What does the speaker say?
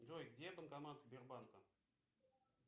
джой где банкомат сбербанка